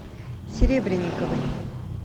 серебренниковой